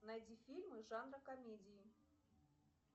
найди фильмы жанра комедии